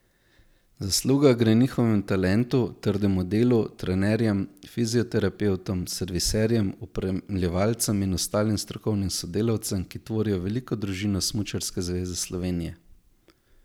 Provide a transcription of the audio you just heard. Zasluga gre njihovemu talentu, trdemu delu, trenerjem, fizioterapevtom, serviserjem, opremljevalcem in ostalim strokovnim sodelavcem, ki tvorijo veliko družino Smučarske zveze slovenije.